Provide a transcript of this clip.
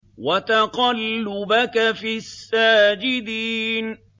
وَتَقَلُّبَكَ فِي السَّاجِدِينَ